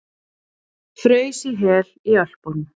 Fraus í hel í Ölpunum